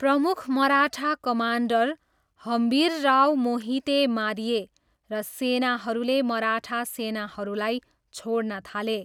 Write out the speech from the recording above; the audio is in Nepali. प्रमुख मराठा कमान्डर हम्बिरराव मोहिते मारिए र सेनाहरूले मराठा सेनाहरूलाई छोड्न थाले।